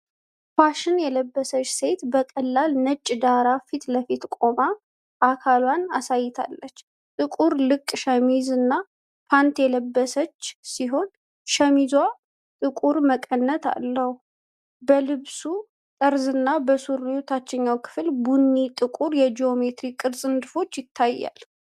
ፋሽን የለበሰች ሴት በቀላል ነጭ ዳራ ፊት ለፊት ቆማ አካሏን አሳይታለች። ጥቁር ልቅ ሸሚዝና ፓንት የለበሰች ሲሆን፣ ሸሚዟ ጥቁር መቀነት አለው። በልብሱ ጠርዝና በሱሪው የታችኛው ክፍል ቡኒና ጥቁር የጂኦሜትሪ ቅርጽ ንድፎች ይታያሉ።